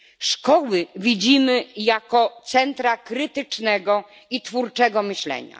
Szkoły widzimy jako centra krytycznego i twórczego myślenia.